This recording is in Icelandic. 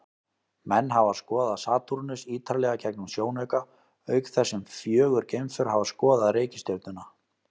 Menn hafa skoðað Satúrnus ýtarlega gegnum sjónauka, auk þess sem fjögur geimför hafa skoðað reikistjörnuna.